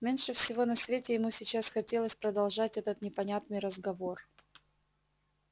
меньше всего на свете ему сейчас хотелось продолжать этот непонятный разговор